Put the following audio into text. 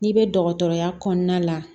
N'i bɛ dɔgɔtɔrɔya kɔnɔna la